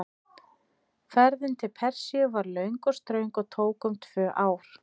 Ferðin til Persíu var löng og ströng og tók um tvö ár.